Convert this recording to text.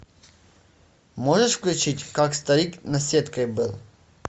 можешь включить как старик наседкой был